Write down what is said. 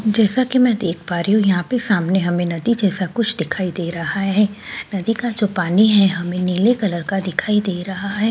जैसा कि मैं देख पा रही हूं यहां पे सामने हमें नदी जैसा कुछ दिखाई दे रहा है नदी का जो पानी है हमें नीले कलर का दिखाई दे रहा है।